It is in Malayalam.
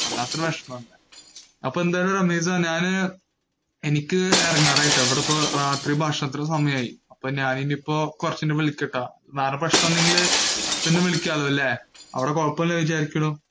വല്ലാത്ത വിഷമം. അപ്പോ എന്തായാലുംരമീസ്‌ എനിക്ക് ഇറങ്ങാന് ആയി. ഇവിടെ ഇപ്പോ രാത്രി ഭക്ഷണത്തിനു സമയം ആയി. അപ്പോ ഞാന് ഇനി ഇപ്പോ കുറച്ചു കഴിഞ്ഞിട് വിളികാം ട്ടോ. പ്രെശ്നം ഇല്ലെങ്കിൽ പിന്നെ വിളികാം ല്ലേ.